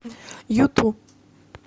юту